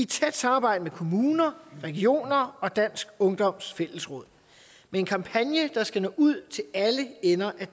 tæt samarbejde med kommuner regioner og dansk ungdoms fællesråd med en kampagne der skal nå ud til alle ender af